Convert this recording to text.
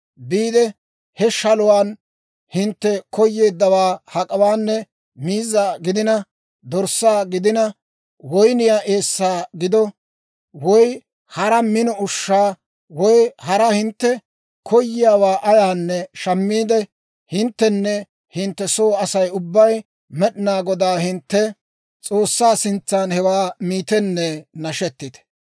Biide he shaluwaan hintte koyeeddawaa hak'awaanne, miizza gidina, dorssaa gidina, woyniyaa eessaa gido, woy hara mino ushshaa, woy hara hintte koyiyaawaa ayaanne shammiide, hinttenne hintte soo Asay ubbay Med'inaa Godaa hintte S'oossaa sintsan hewaa miitenne nashetite.